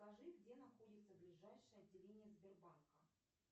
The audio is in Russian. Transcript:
скажи где находится ближайшее отделение сбербанка